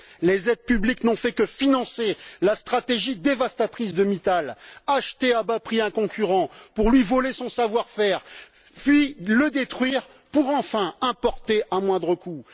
Les aides publiques n'ont fait que financer la stratégie dévastatrice de Mittal acheter un concurrent à bas prix pour lui voler son savoir faire, puis le détruire, pour enfin importer à moindre coût.